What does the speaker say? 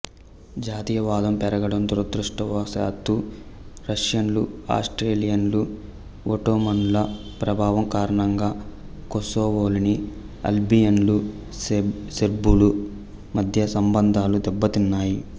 జాతీయవాదం పెరగడం దురదృష్టవశాత్తూ రష్యన్లు ఆస్ట్రియన్లు ఒట్టోమన్ల ప్రభావం కారణంగా కొస్సోవోలోని అల్బేనియన్లు సెర్బుల మధ్య సంబంధాలు దెబ్బతిన్నాయి